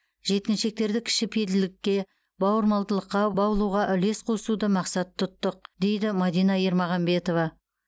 жеткіншектерді кішіпейілділікке бауырмалдыққа баулуға үлес қосуды мақсат тұттық дейді мадина ермағанбетова